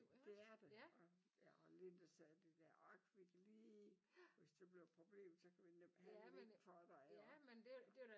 Det er det bare ja lidt især det der: ork vi kan lige og hvis det bliver et problem kan vi lige handle ind for dig også ikke